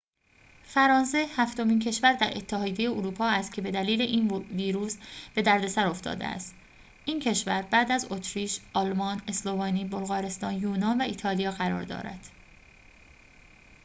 فرانسه هفتمین کشور در اتحادیه اروپا است که بدلیل این ویروس به دردسر افتاده است این کشور بعد از اتریش آلمان اسلوونی بلغارستان یونان و ایتالیا قرار دارد